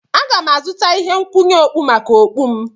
Aga m azụta ihe nkwụnye okpu maka okpu m.